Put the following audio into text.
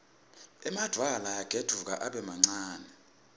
emadvwala ayagedvuka abe mancane